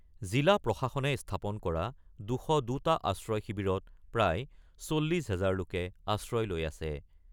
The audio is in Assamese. জিলা প্ৰশাসনে স্থাপন কৰা ২০২টা আশ্ৰয় শিবিৰত প্ৰায় ৪০ হাজাৰ লোকে আশ্ৰয় লৈ আছে।